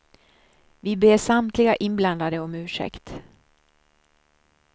Vi ber samtliga inblandade om ursäkt.